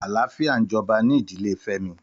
Àláfiá n jòbá ni ìdílé Femi